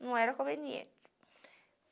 Não era conveniente.